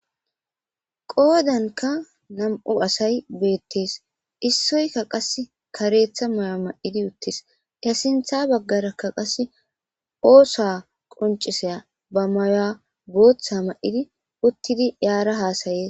Qoodankka nam'u asay bettes issoykka qase kareththa may'o may'ifii uuttis he sinththa baggara oosa qonccisiya booththa may'idi uuttidii aara hassayes